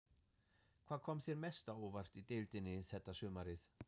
Hvað kom þér mest á óvart í deildinni þetta sumarið?